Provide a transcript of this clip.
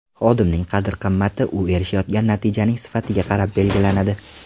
Xodimning qadr-qimmati u erishayotgan natijaning sifatiga qarab belgilanadi.